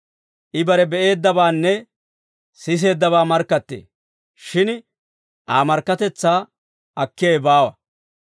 I bare be'eeddabaanne siseeddabaa markkattee; shin Aa markkatetsaa akkiyaawe baawa.